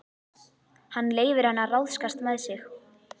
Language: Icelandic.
Hann leyfir henni að ráðskast með sig.